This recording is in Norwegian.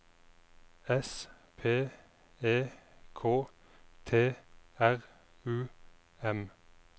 S P E K T R U M